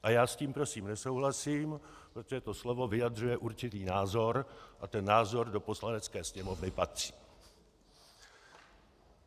A já s tím, prosím, nesouhlasím, protože to slovo vyjadřuje určitý názor a ten názor do Poslanecké sněmovny patří.